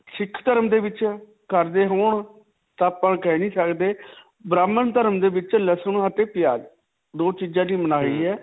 ਸਿੱਖ ਧਰਮ ਦੇ ਵਿੱਚ ਕਰਦੇ ਹੋਣ ਤਾਂ ਆਪਾਂ ਕਹਿ ਨਹੀਂ ਸਕਦੇ. ਬ੍ਰਾਹਮਣ ਧਰਮ ਦੇ ਵਿੱਚ ਲਸਨ ਅਤੇ ਪਿਆਜ. ਦੋ ਚੀਜਾਂ ਦੀ ਮਨਾਹੀ ਹੈ.